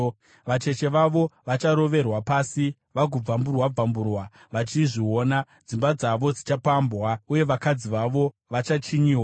Vacheche vavo vacharoverwa pasi vagobvamburwa-bvamburwa vachizviona; dzimba dzavo dzichapambwa uye vakadzi vavo vachachinyiwa.